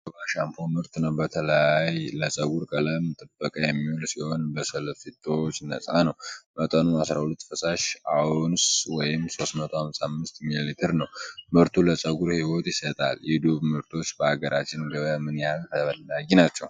ጠርሙሱ የዶቭ ሻምፖ ምርት ነው። በተለይ ለፀጉር ቀለም ጥበቃ የሚውል ሲሆን ከሰልፌቶች ነፃ ነው። መጠኑ 12 ፈሳሽ አውንስ ወይም 355 ሚሊሊትር ነው። ምርቱ ለፀጉር ሕይወት ይሰጣል። የዶቭ ምርቶች በአገራችን ገበያ ምን ያህል ተፈላጊ ናቸው?